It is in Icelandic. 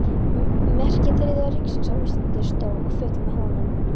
Merki Þriðja ríkisins á Íslandi stóð og féll með honum.